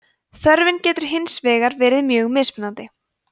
þörfin getur hins vegar verið mjög mismunandi